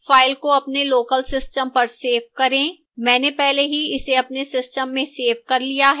file को अपने local system पर सेव करें मैंने पहले ही इसे अपने system में सेव कर लिया है